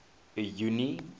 junie